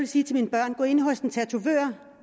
sige til mine børn gå ind hos en tatovør